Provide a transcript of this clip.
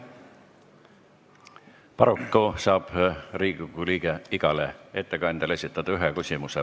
Paraku saab Riigikogu liige igale ettekandjale esitada ühe küsimuse.